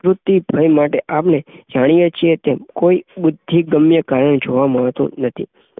ભય માટે અપને જાણીયે છીએ કે કોઈ બુદ્ધિગમ્ય કાયમ જોવા મળતું નથી